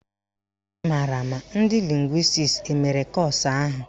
Ị maara ma ndị lịngwịstis emere kọ́ọ̀sụ̀ ahụ?